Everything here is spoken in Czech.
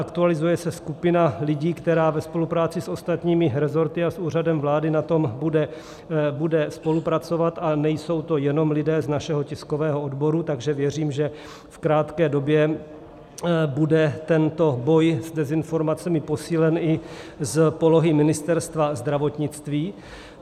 Aktualizuje se skupina lidí, která ve spolupráci s ostatními resorty a s Úřadem vlády na tom bude spolupracovat, a nejsou to jenom lidé z našeho tiskového odboru, takže věřím, že v krátké době bude tento boj s dezinformacemi posílen i z polohy Ministerstva zdravotnictví.